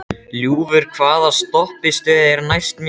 Ljúfur, hvaða stoppistöð er næst mér?